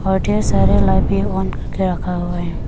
और ढेर सारे लाइट भी ऑन करके रखा हुआ है।